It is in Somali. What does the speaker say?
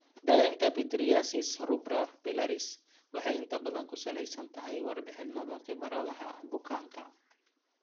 Daaweynta pityriasis rubra pilaris (PRP) waxay inta badan ku saleysan tahay warbixinnada khibradaha bukaanka.